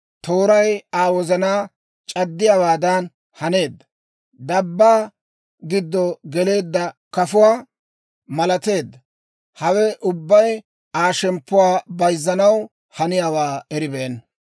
tooray Aa wozanaa c'addiyaawaadan haneedda. Dabbaa giddo geleedda kafuwaa malateedda. Hawe ubbay Aa shemppuwaa bayzzanaw haniyaawaa eribeenna.